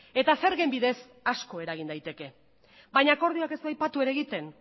eta zergen bidez asko eragin daiteke baina akordioak ez du aipatu ere egiten